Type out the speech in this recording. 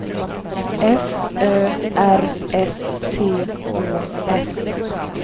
F Ö R S T Å S